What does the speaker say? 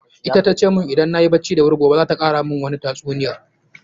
Ita tace mun idan nayi bacci da wuri gobe za ta kara mun wani tatsuniya.